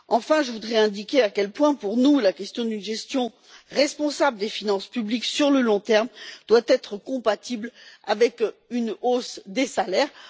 Enfin, je voudrais indiquer à quel point, pour nous, la question d'une gestion responsable des finances publiques sur le long terme doit être compatible avec une hausse des salaires.